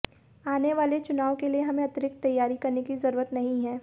आने वाले चुनाव के लिए हमें अतिरिक्त तैयारी करने की जरूरत नहीं है